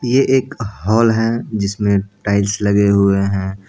ये एक हॉल है जिसमे टाइल्स लगे हुए है ।